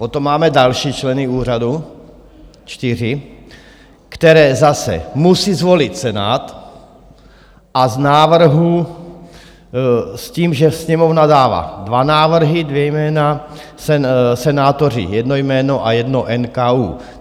Potom máme další členy úřadu, čtyři, které zase musí zvolit Senát, a z návrhu, s tím, že Sněmovna dává dva návrhy, dvě jména, senátoři jedno jméno a jedno NKÚ.